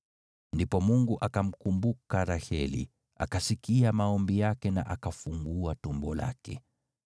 Ndipo Mungu akamkumbuka Raheli, akasikia maombi yake na akafungua tumbo lake.